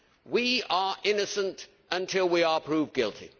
We are innocent until we are proved guilty.